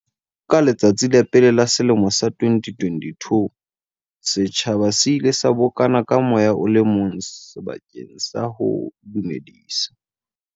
Ka letsatsi la pele la selemo sa 2022, setjhaba se ile sa bokana ka moya o le mong bakeng sa ho dumedisa.